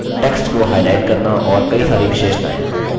text को highlight करना और कई सारी विशेषताएँ